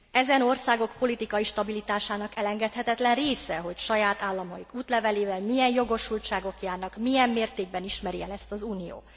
Ezen országok politikai stabilitásának elengedhetetlen része, hogy saját államaik útlevelével milyen jogosultságok járnak, milyen mértékben ismeri el ezt az Unió.